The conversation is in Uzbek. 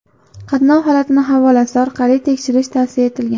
Qatnov holatini havolasi orqali tekshirish tavsiya etilgan.